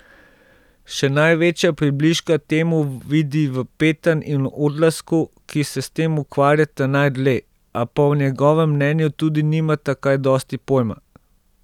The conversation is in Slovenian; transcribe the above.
Še največja približka temu vidi v Petan in Odlazku, ki se s tem ukvarjata najdlje, a pa po njegovem mnenju tudi nimata kaj dosti pojma.